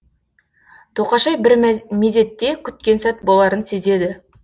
тоқашай бір мезетте күткен сәт боларын сезеді